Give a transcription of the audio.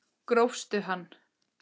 Grófst hann!